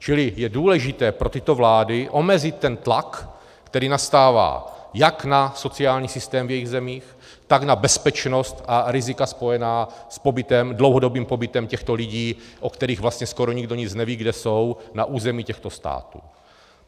Čili je důležité pro tyto vlády omezit ten tlak, který nastává jak na sociální systém v jejich zemích, tak na bezpečnost a rizika spojená s dlouhodobým pobytem těchto lidí, o kterých vlastně skoro nikdo nic neví, kde jsou, na území těchto států.